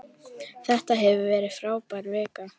Þetta hefur verið frábær vika.